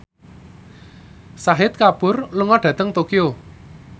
Shahid Kapoor lunga dhateng Tokyo